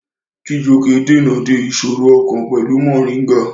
Chijioke dènà de ìṣòro ọkàn pẹ̀lú Mọ̀ríngà